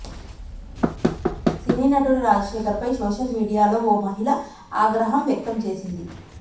సినీ నటుడు రాజశేఖర్ పై సోషల్ మీడియాలో ఓ మహిళ ఆగ్రహం వ్యక్తం చేసింది